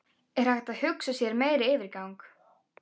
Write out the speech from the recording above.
Er hægt að hugsa sér meiri yfirgang?